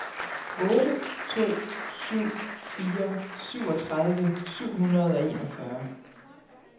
otte to syv fire syvogtredive syv hundrede og enogfyrre